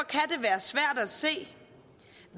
og at se